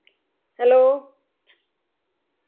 hello